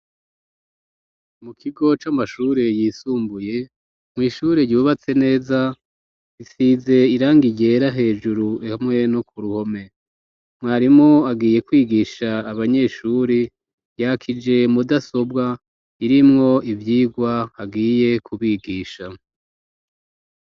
Mu kigo c'amashuri yisumbuye, mw'ishuri yubatse neza, isize irangi ryera hejuru, hamwe no ku ruhome, mwarimu agiye kwigisha abanyeshuri, yakije mudasobwa irimwo ivyigwa agiye kubigisha.